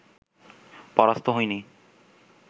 পরাস্ত হইনি